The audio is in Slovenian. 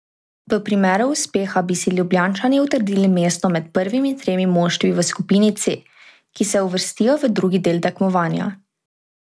V primeru uspeha bi si Ljubljančani utrdili mesto med prvimi tremi moštvi v skupini C, ki se uvrstijo v drugi del tekmovanja.